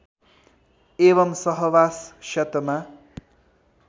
एवं सहवास क्षतमा